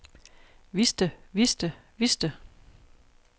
vidste vidste vidste